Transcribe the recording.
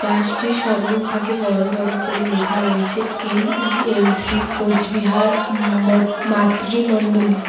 গাছটির সম্মুখভাগে বড় বড় করে লেখা রয়েছে এন_ই_এল_সি কোচবিহার উম মাত মাতৃমণ্ডলী।